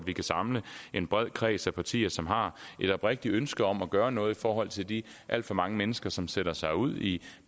vi kan samle en bred kreds af partier som har et oprigtigt ønske om at gøre noget i forhold til de alt for mange mennesker som sætter sig ud i